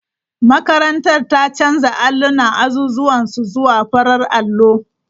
Makarantar ta canza allunan azuzuwan su zuwa farar allo.